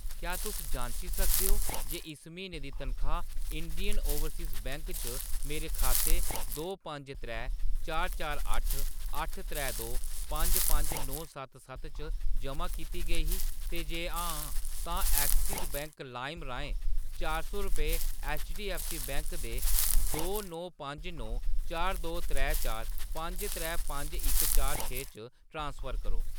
क्या तुस जांची सकदे ओ जे इस म्हीने दी तनखाह्‌‌ इंडियन ओवरसीज़ बैंक च मेरे बैंक खाते दो पंज त्रै चार चार अट्ठ अट्ठ त्रै दो पंज पंज नौ सत्त सत्त च जमा कीती गेई ही, ते जे हां, तां एक्सिस बैंक लाइम राहें चार सौ रपेऽ ऐच्चडीऐफ्फसी बैंक दे दो नौ पंज नौ चार दो त्रै चार पंज त्रै पंज इक चार छे च ट्रांसफर करो ।